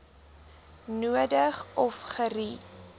nodig of gerie